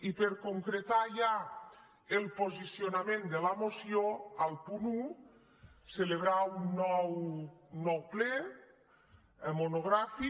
i per concretar ja el posicionament de la moció al punt un celebrar un nou ple monogràfic